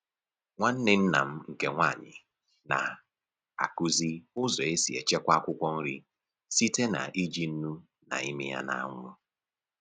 Nwanne nna m nke nwanyị na-akụzi ụzọ e si echekwa akwụkwọ nri site n'iji nnu na ịmị ya n'anwụ